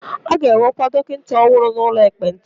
A ga-ewekwa dọkịta ọhụrụ n'ụlọ ekpenta.